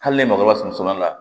Hali ne mago bɛ sunɔgɔ la